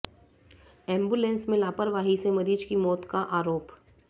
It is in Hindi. एंबुलेंस में लापरवाही से मरीज की मौत का आरोप